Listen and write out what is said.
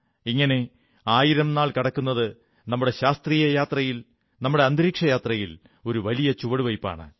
ഇങ്ങനെ ആയിരം നാൾ കടക്കുന്നത് നമ്മുടെ ശാസ്ത്രീയ യാത്രയിൽ നമ്മുടെ അന്തിരീക്ഷയാത്രയിൽ ഒരു വലിയ ചുവടുവയ്പ്പാണ്